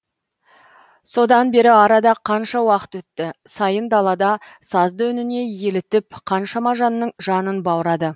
содан бері арада қанша уақыт өтті сайын далада сазды үніне елітіп қаншама жанның жанын баурады